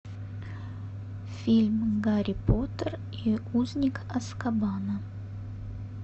фильм гарри поттер и узник азкабана